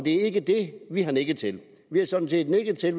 er ikke det vi har nikket til vi har sådan set nikket til at